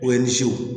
O ye ni se wo